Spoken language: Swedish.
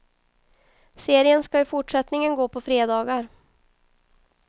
Serien ska i fortsättningen gå på fredagar.